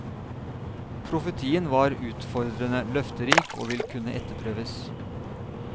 Profetien var utfordrende, løfterik og vil kunne etterprøves.